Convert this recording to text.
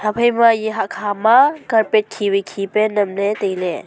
phaima ya hakha ma carpet khi wai khi pe nyem le taile.